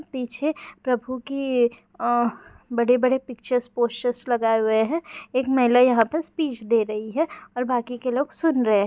पीछे प्रभु की अह बड़े-बड़े पिक्चर्स पोस्टर्स लगाए हुए है एक महिला यहां पे स्पीच दे रही है और बाकी के लोग सुन रहे हैं।